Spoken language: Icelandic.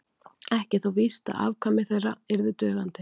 ekki er þó víst að afkvæmi þeirra yrðu dugandi